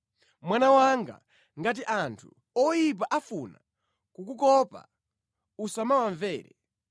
Mwana wanga, ngati anthu oyipa afuna kukukopa usamawamvere.